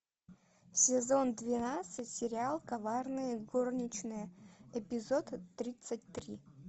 сезон двенадцать сериал коварные горничные эпизод тридцать три